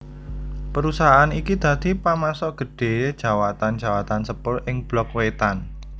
Perusahaan iki dadi pamasok gedhé jawatan jawatan sepur ing Blok Wétan